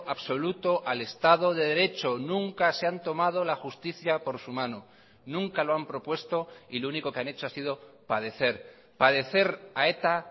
absoluto al estado de derecho nunca se han tomado la justicia por su mano nunca lo han propuesto y lo único que han hecho ha sido padecer padecer a eta